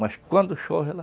Mas quando chove, ela...